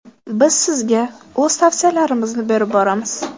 Biz sizga o‘z tavsiyalarimizni berib boramiz!.